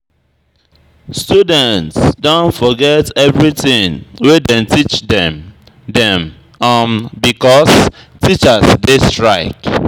Students don forget everytin wey dem teach dem dem um because um teachers dey strike.